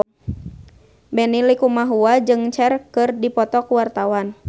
Benny Likumahua jeung Cher keur dipoto ku wartawan